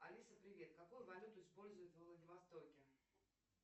алиса привет какую валюту используют во владивостоке